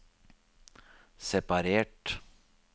separert